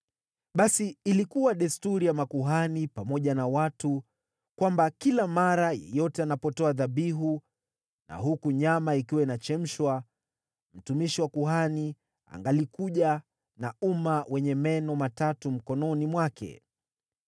Basi ilikuwa desturi ya makuhani pamoja na watu kwamba kila mara yeyote anapotoa dhabihu na huku nyama ikiwa inachemshwa, mtumishi wa kuhani angalikuja na uma wenye meno matatu mkononi mwake.